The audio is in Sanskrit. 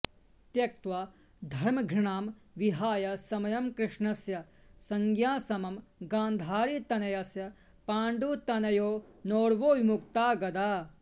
त्यक्त्वा धर्मघृणां विहाय समयं कृष्णस्य संज्ञासमं गान्धारीतनयस्य पाण्डुतनयेनोर्वोर्विमुक्ता गदा